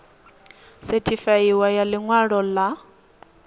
sethifaiwaho ya ḽi ṅwalo ḽa